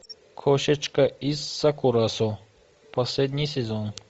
кошечка из сакурасо последний сезон